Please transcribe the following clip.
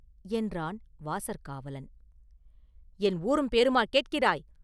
என்றான் வாசற்காவலன்.” “என் ஊரும் பேருமா கேட்கிறாய்?